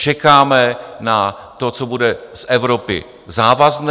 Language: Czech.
Čekáme na to, co bude z Evropy závazné.